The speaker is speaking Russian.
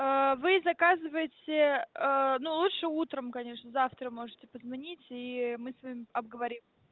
вы заказываете но лучше утром конечно завтра можете позвонить и мы с вами обговорим